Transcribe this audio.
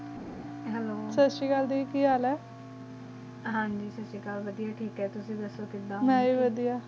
hello ਸਾਸਰੀਕਾਲ ਗ ਕੀ ਹਾਲ ਆ ਹਨ ਜੀ ਸਾਸਰੀਕਾਲ ਤਾਬ੍ਯ੍ਤ ਟਾਕ ਹੈ ਤੁਸੀਂ ਦਸੋ ਕੀੜਾ ਮੈਂ ਵ ਵੜਿਆ